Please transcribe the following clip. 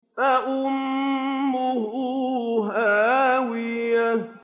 فَأُمُّهُ هَاوِيَةٌ